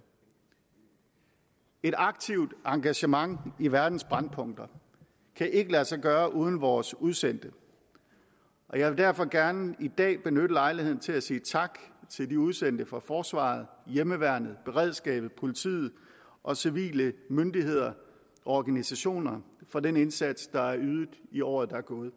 et aktivt engagement i verdens brændpunkter kan ikke lade sig gøre uden vores udsendte og jeg vil derfor gerne i dag benytte lejligheden til at sige tak til de udsendte for forsvaret hjemmeværnet beredskabet politiet og civile myndigheder og organisationer for den indsats der er ydet i året der er gået